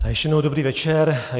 Ještě jednou dobrý večer.